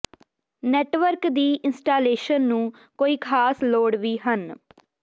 network ਦੀ installation ਨੂੰ ਕੋਈ ਖਾਸ ਲੋੜ ਵੀ ਹਨ